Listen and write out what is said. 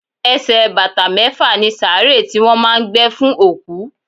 Ẹsẹ̀ bàtà mẹ́fà ni sàárè tí wọ́n máà ń gbé fún òkú.